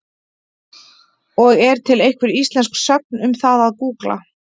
Og er til einhver íslensk sögn um það að gúgla?